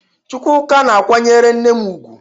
Chukwuka na-akwanyere nne m ugwu.